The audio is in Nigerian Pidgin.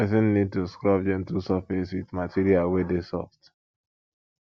person need to scrub gentle surface with material wey dey soft